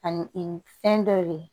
Ani fɛn dɔ ye